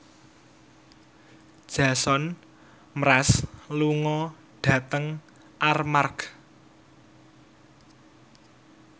Jason Mraz lunga dhateng Armargh